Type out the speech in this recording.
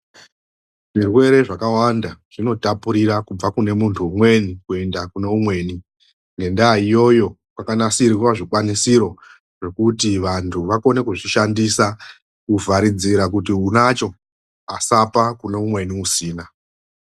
Zvirwere zvakawanda zvinotapurira kubva kumunhu umweni kuenda kune umweni. Ngendaa iyoyo kwanasirirwa zvikwanisiro zvekuti vanhu vakone kuzvishandisa kuvharidzira kuti unacho asapa umweni usina.